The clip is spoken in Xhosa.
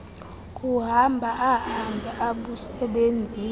kuhamba ahambe abusebenzise